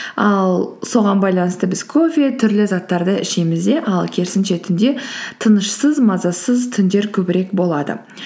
ал соған байланысты біз кофе түрлі заттарды ішеміз де ал керісінше түнде тынышсыз мазасыз түндер көбірек болады